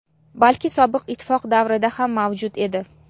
balki Sobiq ittifoq davrida ham mavjud edi.